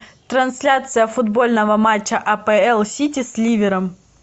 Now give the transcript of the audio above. трансляция футбольного матча апл сити с ливером